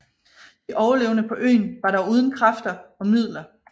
De overlevende på øen var dog uden kræfter og midler